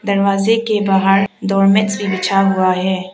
दरवाजे के बाहर डोर मैट्स भी बिछा हुआ है।